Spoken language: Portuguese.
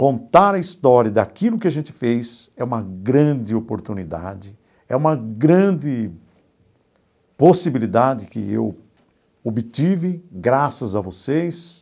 Contar a história daquilo que a gente fez é uma grande oportunidade, é uma grande possibilidade que eu obtive graças a vocês.